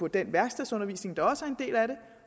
den værkstedsundervisning der også